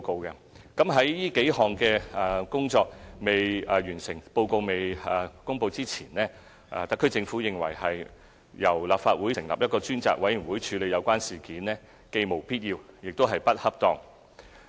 在這數項工作未完成、報告未公布前，特區政府認為由立法會成立一個專責委員會處理有關事件，既無必要，亦不恰當。